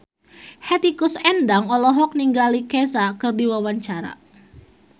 Hetty Koes Endang olohok ningali Kesha keur diwawancara